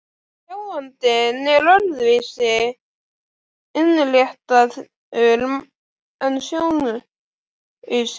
Sjáandinn er öðru vísi innréttaður en sjónlausir.